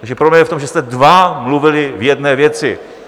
Takže problém je v tom, že jste dva mluvili v jedné věci.